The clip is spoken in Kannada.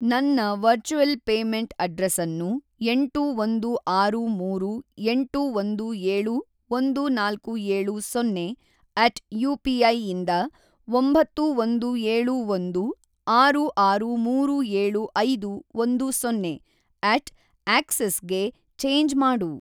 ನನ್ನ ವರ್ಚುಯೆಲ್ ಪೇಮೆಂಟ್‌ ಅಡ್ರೆಸನ್ನು ಎಂಟು ಒಂದು ಆರು ಮೂರು ಎಂಟು ಒಂದು ಏಳು ಒಂದು ನಾಲ್ಕು ಏಳು ಸೊನ್ನೆ ಅಟ್ ಯು ಪಿ ಐಯಿಂದ ಒಂಬತ್ತು ಒಂದು ಏಳು ಒಂದು ಆರು ಆರು ಮೂರು ಏಳು ಐದು ಒಂದು ಸೊನ್ನೆ ಅಟ್ ಆ್ಯಕ್ಸಿಸ್‌ಗೆ ಚೇಂಜ್‌ ಮಾಡು